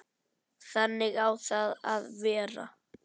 Þannig á það að vera.